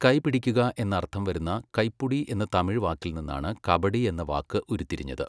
കൈപിടിക്കുക എന്നർത്ഥം വരുന്ന കൈപുടി എന്ന തമിഴ് വാക്കിൽ നിന്നാണ് 'കബഡി' എന്ന വാക്ക് ഉരുത്തിരിഞ്ഞത്.